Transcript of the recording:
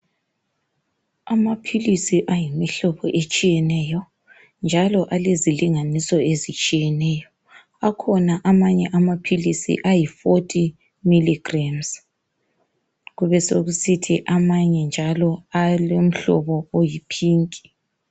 Amaphilisi ayimihlobo etshiyetshiyeneyo njalo alezilinganiso ezitshiyeneyo akhona amanye amaphilisi ayi40mg kube sokusithi amanye njalo alomhlobo oyipink